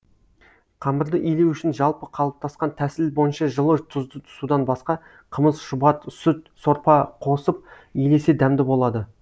қамырды илеу үшін жалпы қалыптасқан тәсіл бойынша жылы тұзды судан басқа қымыз шұбат сүт сорпа қосып илесе дәмді болады